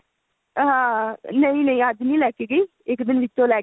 ah ਨਹੀਂ ਨਹੀਂ ਅੱਜ ਨਹੀਂ ਲੈਕੇ ਗਈ ਇੱਕ ਦਿਨ ਵਿੱਚੋ ਲੈਕੇ